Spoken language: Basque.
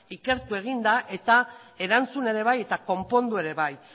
ikertu egin da eta erantzun ere bai eta konpondu ere bai